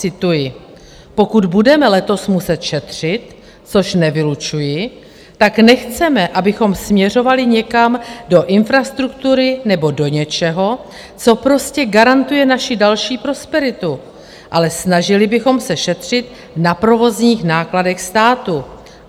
Cituji: "Pokud budeme letos muset šetřit, což nevylučuji, tak nechceme, abychom směřovali někam do infrastruktury nebo do něčeho, co prostě garantuje naši další prosperitu, ale snažili bychom se šetřit na provozních nákladech státu.